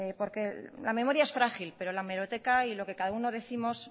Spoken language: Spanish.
porque la memoria es frágil pero la hemeroteca y lo que cada uno décimos